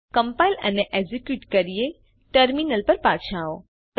ચાલો કમ્પાઇલ અને એકઝીક્યુટ કરીએ ટર્મિનલ પર પાછા આવો